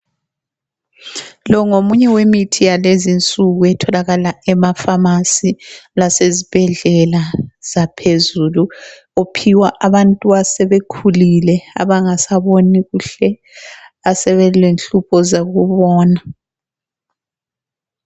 Lo ngomunye wemithi yalezinsuku etholakala emafamasi lasezibhedlela zaphezulu. Uphiwa abantu asebekhulile abangasaboni kuhle asebelenhlupho zokubona.